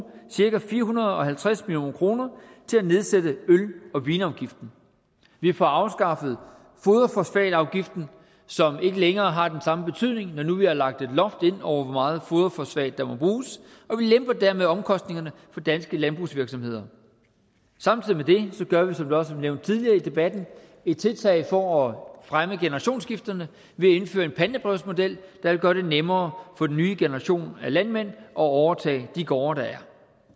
cirka fire hundrede og halvtreds million kroner til at nedsætte øl og vinafgiften vi får afskaffet foderfosfatafgiften som ikke længere har den samme betydning når nu vi har lagt et loft over hvor meget foderfosfat der må bruges og vi lemper dermed omkostningerne for danske landbrugsvirksomheder samtidig med det gør vi som det også blev nævnt tidligere i debatten et tiltag for at fremme generationsskifterne ved at indføre en pantebrevsmodel der vil gøre det nemmere for den nye generation af landmænd at overtage de gårde der er